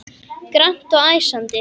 Grannt og æsandi.